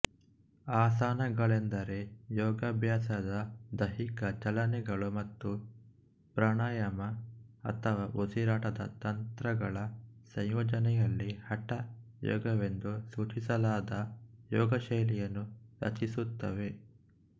ಆಸನಗಳೆಂದರೆ ಯೋಗಾಭ್ಯಾಸದ ದೈಹಿಕ ಚಲನೆಗಳು ಮತ್ತು ಪ್ರಾಣಾಯಾಮ ಅಥವಾ ಉಸಿರಾಟದ ತಂತ್ರಗಳ ಸಂಯೋಜನೆಯಲ್ಲಿ ಹಠ ಯೋಗವೆಂದು ಸೂಚಿಸಲಾದ ಯೋಗಶೈಲಿಯನ್ನು ರಚಿಸುತ್ತವೆ